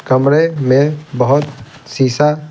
कमरे में बहुत शीशा--